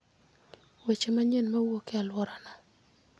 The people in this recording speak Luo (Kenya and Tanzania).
weche manyien mowuok e alworano